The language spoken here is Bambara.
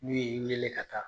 N'u y'i wele ka taa